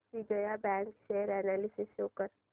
Vijaya bank share analysis show कर